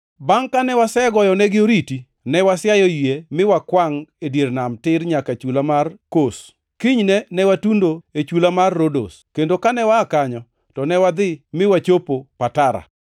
Bangʼ kane wasegoyonegi oriti, ne wasiayo yie mi wakwangʼ e dier nam tir nyaka chula mar Kos. Kinyne ne watundo e chula mar Rodos, kendo kane waa kanyo, to ne wadhi mi wachopo Patara.